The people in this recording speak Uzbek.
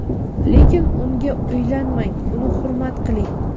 lekin unga uylanmang - uni hurmat qiling.